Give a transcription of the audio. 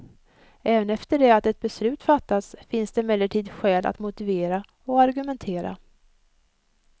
Även efter det att ett beslut fattats finns det emellertid skäl att motivera och argumentera.